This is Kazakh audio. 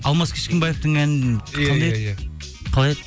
алмас кішкенбаевтің әні қалай еді